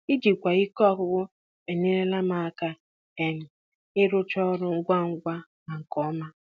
Ijikwa ike ọgwụgwụ enyerela m aka um ịrụcha ọrụ ngwa ngwa na nke ọma.